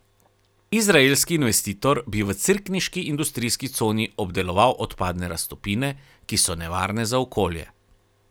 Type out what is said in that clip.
Izraelski investitor bi v cerkniški industrijski coni obdeloval odpadne raztopine, ki so nevarne za okolje.